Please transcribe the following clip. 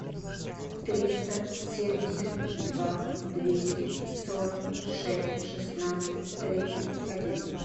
триста семьдесят два двести сорок шесть шестнадцать тридцать один